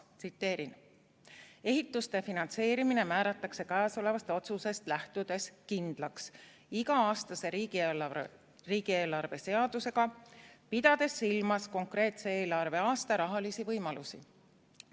Tsiteerin: "Ehituste finantseerimine määratakse käesolevast otsusest lähtudes kindlaks iga-aastase riigieelarve seadusega, pidades silmas konkreetse eelarve-aasta rahalisi võimalusi.